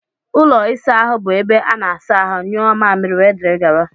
Ụlọ ịsa ahụ bụ ebe ana-asa ahụ, nyuo mmamịrị, wdg.